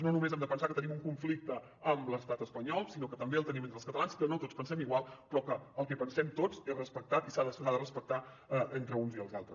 no només hem de pensar que tenim un conflicte amb l’estat espanyol sinó que també el tenim entre els catalans que no tots pensem igual però que el que pensem tots és respectat i s’ha de respectar entre uns i els altres